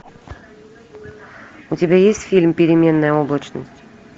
у тебя есть фильм переменная облачность